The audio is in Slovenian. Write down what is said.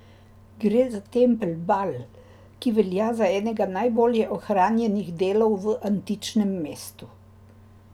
Gre za tempelj Bal, ki velja za enega najbolje ohranjenih delov v antičnem mestu.